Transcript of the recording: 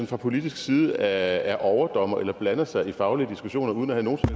fra politisk side er er overdommer eller blander sig i faglige diskussioner uden at